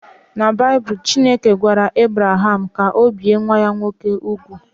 Na Baịbụl, Chineke gwara Ebraham ka o bie nwa ya nwoke úgwù